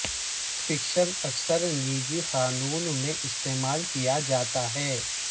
fiction اکثر نجی قانون میں استعمال کیا جاتا ہے